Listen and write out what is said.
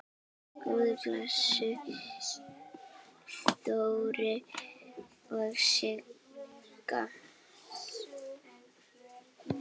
Guð blessi Þóru og Sigga.